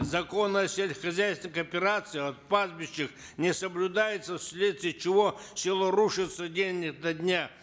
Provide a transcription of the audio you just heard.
закон о сельскохозяйственных кооперациях пастбищах не соблюдается вследствие чего село рушится день ото дня